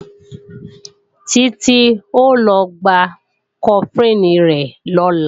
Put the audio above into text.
Títí ó lọ gba Cofflin rẹ̀ lọ́la